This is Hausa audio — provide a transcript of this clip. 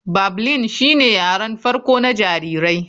Babling shine yaren farko na jariri.